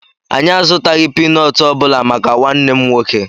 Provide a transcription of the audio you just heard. Anyị azutaghị pínọọtù obula màkà nwanne m nwoke